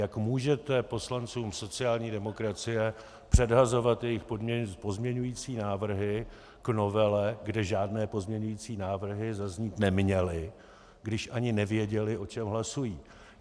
Jak můžete poslancům sociální demokracie předhazovat jejich pozměňující návrhy k novele, kde žádné pozměňující návrhy zaznít neměly, když ani nevěděli, o čem hlasují?